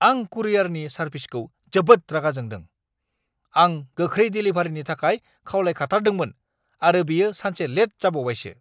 आं कुरियरनि सारभिसखौ जोबोद रागा जोंदों। आं गोख्रै देलिभारिनि थाखाय खावलायखाथारदोंमोन आरो बेयो सानसे लेट जाबावबायसो।